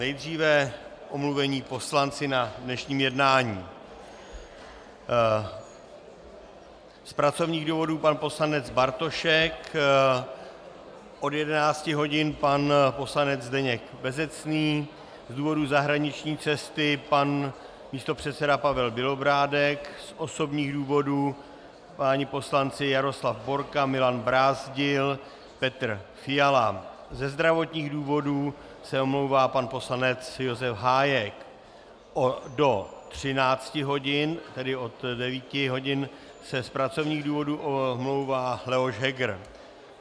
Nejdříve omluvení poslanci na dnešním jednání: Z pracovních důvodů pan poslanec Bartošek, od 11 hodin pan poslanec Zdeněk Bezecný, z důvodu zahraniční cesty pan místopředseda Pavel Bělobrádek, z osobních důvodů páni poslanci Jaroslav Borka, Milan Brázdil, Petr Fiala, ze zdravotních důvodů se omlouvá pan poslanec Josef Hájek, do 13 hodin, tedy od 9 hodin, se z pracovních důvodů omlouvá Leoš Heger.